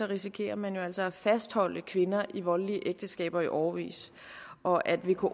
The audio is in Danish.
risikerer man jo altså at fastholde kvinder i voldelige ægteskaber i årevis og at vko